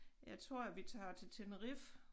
Jeg tror at vi tager til Tenerife